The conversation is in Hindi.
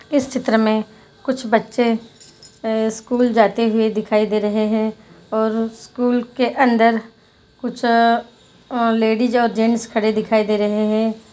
इस चित्र मै कुछ बच्चे अ स्कूल जाते हुए दिखाई दे रहे है और स्कूल के अंदर कुछ अ लेडिस और जेन्ट्स खड़े दिखाई दे रहे है।